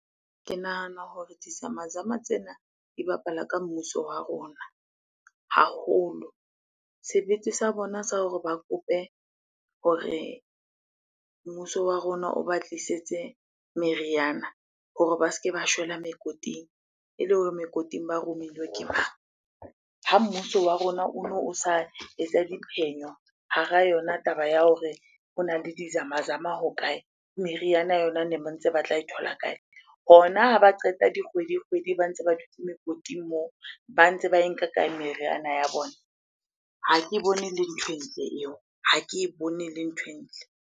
Ke nahana hore dizamazama tsena di bapala ka mmuso wa rona haholo. Sebete sa bona sa hore ba kope hore mmuso wa rona o ba tlisetse meriana hore ba se ke ba shwella mekoting ele hore mekoting ba romilwe ke mang? Ha mmuso wa rona ono o sa etsa diphenyo hara yona taba ya hore hona le dizamazama hokae? Meriana yona ne ba ntse batla e thola kae? Hona ha ba qeta dikgwedi-kgwedi ba ntse ba dutse mekoting moo, ba ntse ba e nka kae meriana ya bona? Ha ke bone ele ntho e ntle eo, ha ke e bone ele ntho e ntle.